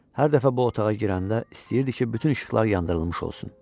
Hər dəfə bu otağa girəndə istəyirdi ki, bütün işıqlar yandırılmış olsun.